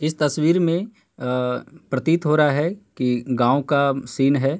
इस तस्वीर में अ- प्रतीत हो रहा है कि गांव का सीन है।